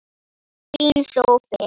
Fínn sófi!